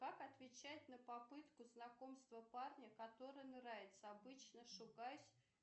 как отвечать на попытку знакомства парня который нравится обычно шугаюсь